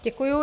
Děkuju.